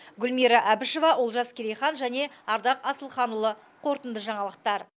гүлмира әбішева олжас керейхан және ардақ асылханұлы қорытынды жаңалықтар